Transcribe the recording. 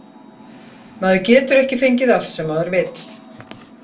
Maður getur ekki fengið allt sem maður vill.